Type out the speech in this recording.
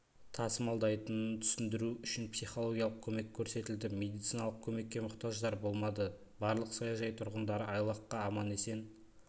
тасымалдайтынын түсіндіру үшін психологиялық көмек көрсетілді медициналық көмекке мұқтаждар болмады барлық саяжай тұрғындары айлаққа аман-есен